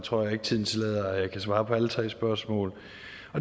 tror jeg ikke tiden tillader at jeg kan svare på alle tre spørgsmål